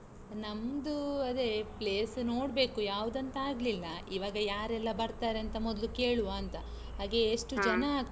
ನಮ್ದು ಅದೇ place ನೋಡ್ಬೇಕು ಯವಾದಂತಾಗಲಿಲ್ಲ, ಇವಾಗ ಯಾರೆಲ್ಲಾ ಬರ್ತಾರಂತ ಮೊದ್ಲು ಕೇಳುವಾಂತ, ಹಾಗೆ ಎಷ್ಟು ಜನ ಆಗ್ತರೆ.